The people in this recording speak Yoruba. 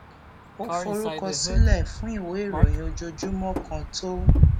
ó forúkọsílè fún ìwé ìròyìn ojoojúmó kan tó